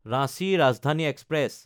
Ranchi Rajdhani express